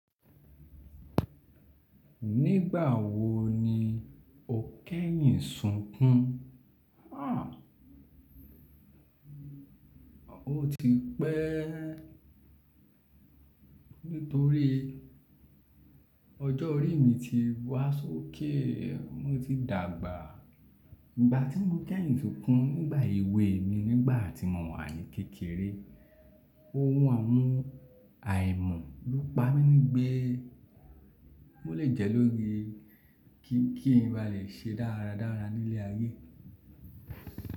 Nígbà wo ni o kẹ́yìn sunkùn? Há! O ti pẹ́ nítorí ọjọ́ orí mi ti wá sókè mo ti dàgbà. Ìgbà tí mo kẹ́yìn sunkùn nígbà èwe mi nígbà tí mo wà ní kékeré, ohun àmú-àìmọ̀ ló pa mí ní gbe mọ́ lè jẹ lórí kí n ba lè ṣe dáradára ní ilé ayé.